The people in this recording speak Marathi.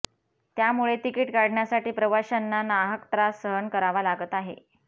त्यामुळे तिकीट काढण्यासाठी प्रवाशांना नाहक त्रास सहन करावा लागत आहे